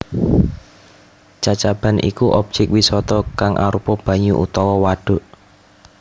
Cacaban iku obyek wisata kang arupa banyu utawa wadhuk